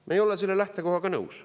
Me ei ole selle lähtekohaga nõus.